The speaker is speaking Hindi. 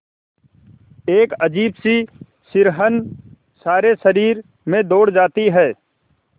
एक अजीब सी सिहरन सारे शरीर में दौड़ जाती है